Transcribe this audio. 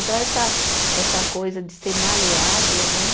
Então, essa essa coisa de ser maleável, né?